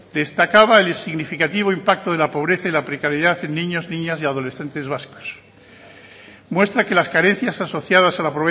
destacaba el significativo impacto de la pobreza y la precariedad en niños y niñas y adolescentes vascas muestra que las carencias asociadas a la